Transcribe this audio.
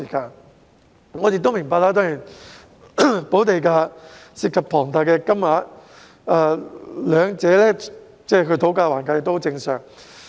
當然，我亦明白補地價涉及龐大金額，雙方討價還價也十分正常。